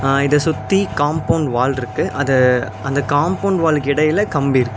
அ இத சுத்தி compound wall இருக்கு அத அந்த காம்பவுண்ட் வால்க்கிடையில கம்பி இருக்கு.